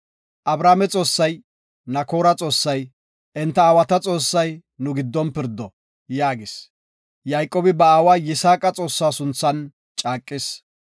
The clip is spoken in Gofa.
Abrahaame Xoossay, Nakoora Xoossay, enta aawa Xoossay, nu giddon pirdo” yaagis. Yayqoobi ba aawa Yisaaqa Xoossa sunthan caaqis.